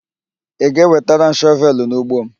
Ị ga-ewetara m shọvelụ n'ugbo m?